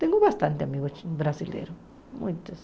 Tenho bastante amigos brasileiros, muitos.